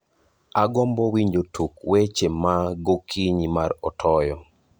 agombo winjo tuk wech ma gokinyi mar otoyo